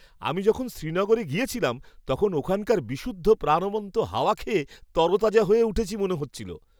আমি যখন শ্রীনগরে গেছিলাম তখন ওখানকার বিশুদ্ধ প্রাণবন্ত হাওয়া খেয়ে তরতাজা হয়ে উঠেছি মনে হচ্ছিল।